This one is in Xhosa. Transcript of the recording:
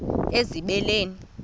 ezibeleni